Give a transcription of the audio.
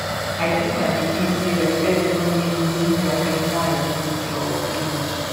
i teach my pikin say respect no mean losing their personal identity or opinions